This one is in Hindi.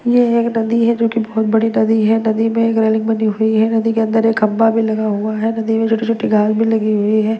यह एक नदी है जो एक बहुत बड़ी नदी है नदी में एक रेलिंग बनी हुई है नदी के अंदर एक खंभा भी लगा हुआ है नदी में छोटे छोटे घास भी लगी हुई है।